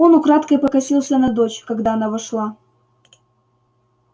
он украдкой покосился на дочь когда она вошла